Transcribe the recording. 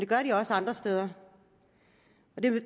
gør de også andre steder